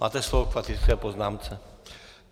Máte slovo k faktické poznámce.